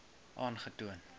aangetoon